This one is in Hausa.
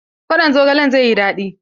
Kwaɗon zogalen zai yi daɗi.